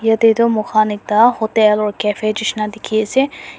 etyeh toh mokhan ekta hotel or cafe cheshina dekhey ase.